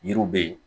Yiriw bɛ yen